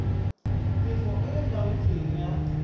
tefo e e laotsweng ya